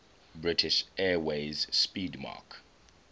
british airways 'speedmarque